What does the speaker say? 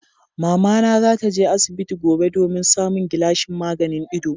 Mamana za ta je asibiti gobe domin samun gilashin maganin ido.